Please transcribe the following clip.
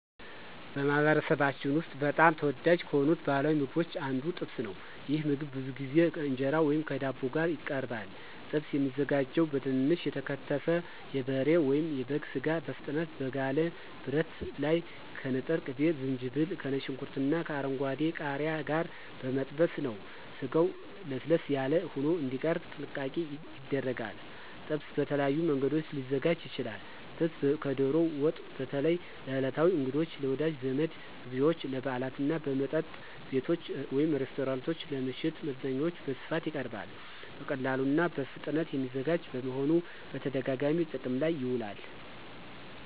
በማኅበረሰባችን ውስጥ በጣም ተወዳጅ ከሆኑት ባሕላዊ ምግቦች አንዱ ጥብስ ነው። ይህ ምግብ ብዙ ጊዜ ከእንጀራ ወይም ከዳቦ ጋር ይቀርባል። ጥብስ የሚዘጋጀው በትንንሽ የተከተፈ የበሬ ወይም የበግ ሥጋ በፍጥነት በጋለ ብረት ላይ ከንጥር ቅቤ፣ ዝንጅብል፣ ከነጭ ሽንኩርትና ከአረንጓዴ ቃሪያ ጋር በመጠበስ ነው። ስጋው ለስለስ ያለ ሆኖ እንዲቀርብ ጥንቃቄ ይደረጋል። ጥብስ በተለያዩ መንገዶች ሊዘጋጅ ይችላል። ጥብስ ከዶሮ ወጥ በተለይ ለዕለታዊ እንግዶች፣ ለወዳጅ ዘመድ ግብዣዎች፣ ለበዓላት እና በመጠጥ ቤቶች (ሬስቶራንቶች) ለምሽት መዝናኛዎች በስፋት ይቀርባል። በቀላሉና በፍጥነት የሚዘጋጅ በመሆኑ በተደጋጋሚ ጥቅም ላይ ይውላል።